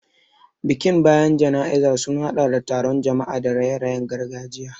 Bikin bayan jana'izar sun hadɗa da taron jama'a da raye-rayen gargajiya.